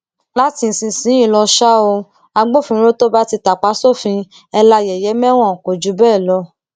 láti ìsinsìnyìí lọ ṣáá o agbófinró tó bá ti tàpá sófin ẹ la yẹyẹ mẹwọn kò jù bẹẹ lọ